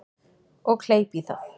Og kleip í það.